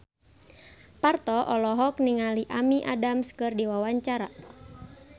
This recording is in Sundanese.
Parto olohok ningali Amy Adams keur diwawancara